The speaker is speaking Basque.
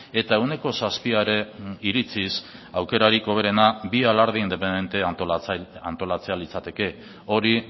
eta ehuneko zazpiaren iritziz aukerarik hoberena bi alarde independente antolatzea litzateke hori